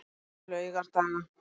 laugardaga